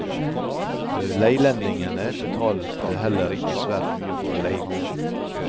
Leilendingene betalte heller ikke svært mye for å leie gården.